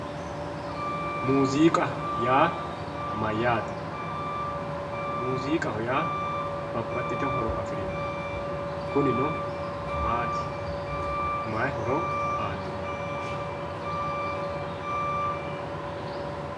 muuziiqa yaa mayyaate muuziiqaho yaa babbaxxitino horo afirino kunino maati may horo aannoho.